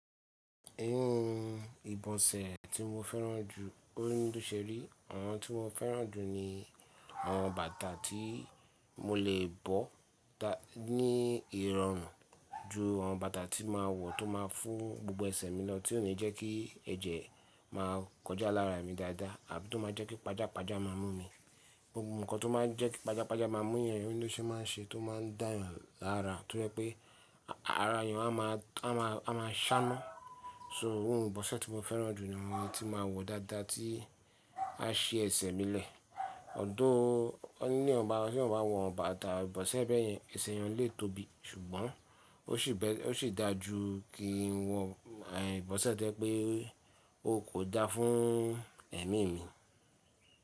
Iru ìbọ̀sẹ̀ tí mo fẹ́ràn jù oni bi o se ri, àwọn tí mo fẹ́ràn jù ni àwọn bàtà tí mo lè bọ́ ta ní ìrọ̀rùn ju àwọn bàtà tí màá wọ̀ tó máa fún gbogbo ẹsẹ̀ mi lọ tí ò ní jẹ́ kí ẹ̀jẹ̀ máa kọjá lára mi dáadáa àbí tó máa jẹ́ kí pàjá pàjá má mú mi. Gbogbo n kan tó máa ń jẹ́ kí pàjá pàjá má mú èèyàn o n lo n se máa n ṣe tó máa ń dá èèyàn lára tó jẹ́ pé ara èèyàn a má a má a sá na So òun ìbọ̀sẹ̀ tí mo fẹ́ràn jù ni àwọn tí máa wọ̀ dáadáa tí a ṣi ẹsẹ̀ mi lẹ̀. Although won ni bi eyan ba wọ́ bá ti eyan ba wo bàtà ìbọ̀sẹ̀ bẹ́ẹ̀ yẹn ẹsẹ̀ ẹyan lè tóbi. Ṣùgbọ́n ó sì bẹ́, ó sì dáa ju kí n wọ ìbọ̀sẹ̀ tẹ́ pé ó kò da fún ẹ̀mí mi.